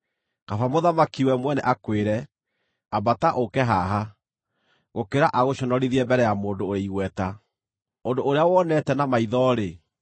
kaba mũthamaki we mwene akwĩre, “Ambata, ũũke haha,” gũkĩra agũconorithie mbere ya mũndũ ũrĩ igweta. Ũndũ ũrĩa wonete na maitho-rĩ,